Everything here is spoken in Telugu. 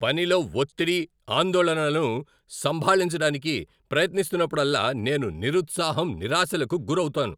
పనిలో ఒత్తిడి, ఆందోళనలను సంభాళించడానికి ప్రయత్నిస్తున్నప్పుడల్లా నేను నిరుత్సాహం, నిరాశలకు గురవుతాను.